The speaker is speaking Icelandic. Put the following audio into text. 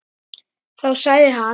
Þá sagði hann